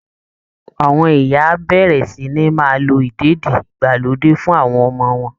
Àwọn ìyá á bẹ̀rẹ̀ sí ní máa lo ìdèdí-ìgbàlódé fún àwọn ọmọ wọn